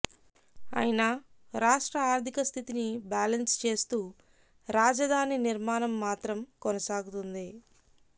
అయినా రాష్ట్ర ఆర్ధిక స్థితి ని బాలన్స్ చేస్తూ రాజధాని నిర్మాణం మాత్రం కొనసాగుతుంది